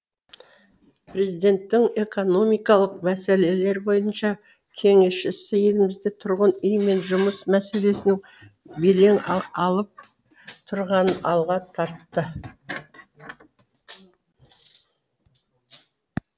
президенттің экономикалық мәселелер бойынша кеңесшісі елімізде тұрғын үй мен жұмыс мәселесінің белең алып тұрғанын алға тартты